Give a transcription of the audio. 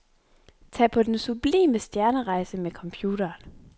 Tag på den sublime stjernerejse med computeren.